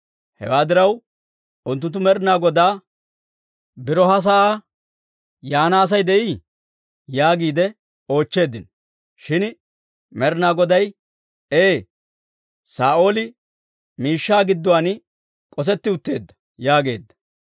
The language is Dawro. Hewaa diraw unttunttu Med'inaa Godaa, «Biro ha sa'aa yaana Asay de'ii?» yaagiide oochcheeddino. Shin Med'inaa Goday, «Ee! Saa'ooli miishshaa gidduwaan k'osetti utteedda» yaageedda.